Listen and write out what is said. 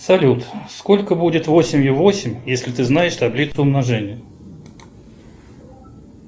салют сколько будет восемью восемь если ты знаешь таблицу умножения